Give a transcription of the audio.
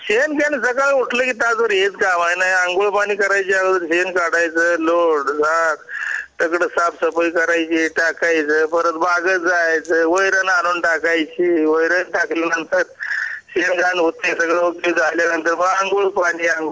शेण काय सकाळी उठलं कि तास भर हेच कामआहे अंघोळ पाणी करायच्या अगोदर शेण काढायचं लोट झाड सगळं साफ सफाई करायची टाकायच परत बागेत जायचं वैरण आणून टाकायचीवैरण टाकल्या नंतर शेण घाण होतंय हे सगळं झाल्यानंतर मग अंघोळ पानी अंघोळ झाल्यानंतर मग देवाच